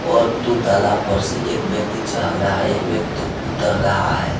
और दो ताला पर से एक व्यक्ति झाग रहा और एक व्यक्ति उतर रहा है।